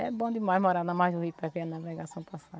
É bom demais morar na margem do rio para ver a navegação passar.